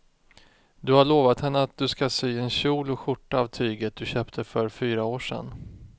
Du har lovat henne att du ska sy en kjol och skjorta av tyget du köpte för fyra år sedan.